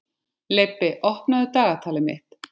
Leibbi, opnaðu dagatalið mitt.